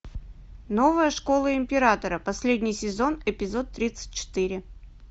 новая школа императора последний сезон эпизод тридцать четыре